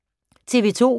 TV 2